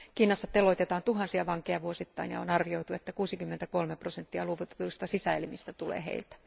Kiinassa teloitetaan tuhansia vankeja vuosittain, ja on arvioitu, että 63 prosenttia luovutetuista sisäelimistä tulee heiltä.